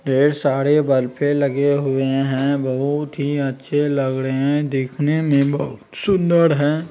ढेर सारेब बल्ब लगे हुए हैं बहुत ही अच्छे लग रहे हैं देखने में बहुत सुन्दर है।